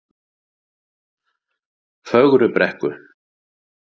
Fögrubrekku